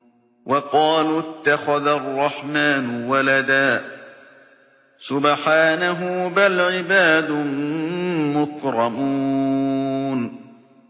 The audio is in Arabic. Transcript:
وَقَالُوا اتَّخَذَ الرَّحْمَٰنُ وَلَدًا ۗ سُبْحَانَهُ ۚ بَلْ عِبَادٌ مُّكْرَمُونَ